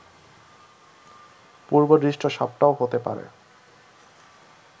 পূর্বদৃষ্ট সাপটাও হতে পারে